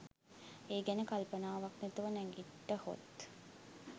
ඒ ගැන කල්පනාවක් නැතුව නැගිට්ටහොත්